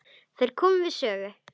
Þær komu við sögu.